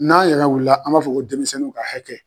N'an yɛrɛ wulila an b'a fɔ ko denmisɛnninw ka hakɛ.